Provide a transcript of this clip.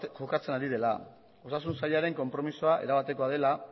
jokatzen ari dela osasun sailaren konpromisoa erabatekoa dela